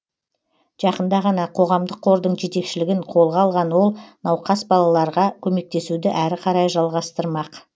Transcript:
жақында ғана қоғамдық қордың жетекшілігін қолға алған ол науқас балаларға көмектесуді әрі қарай жалғастырмақ